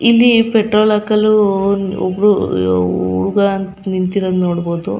ಇಲ್ಲಿ ಪೆಟ್ರೋಲ್ ಹಾಕಲು ಒಬ್ರು ಉ ಉ ಉ ಹುಡುಗ ನಿಂತಿರೋದು ನೋಡಬಹುದು --